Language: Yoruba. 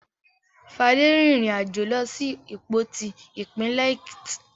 Fadé rìnrìn-àjò lọ sí Ìpoti, ìpínlẹ̀ Èkìtì.